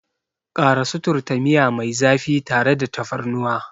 Ƙara suturta miya mai zafi tare da tafarnuwa.